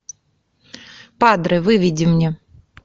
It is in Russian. падре выведи мне